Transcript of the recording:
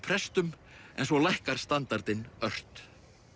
prestum en svo lækkar standardinn ört